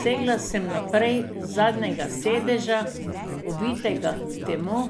Segla sem naprej z zadnjega sedeža, ovitega v temo,